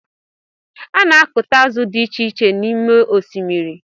A na akuta azụ dị icheiche n’ime osimiri